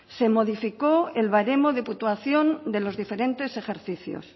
se modificó el baremo de puntuación de los diferentes ejercicios